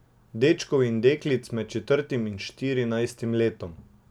Dečkov in deklic med četrtim in štirinajstim letom.